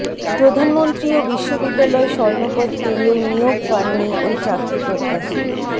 প্রধানমন্ত্রী ও বিশ্ববিদ্যালয় স্বর্ণপদ পেয়েও নিয়োগ পাননি ওই চাকরিপ্রত্যাশী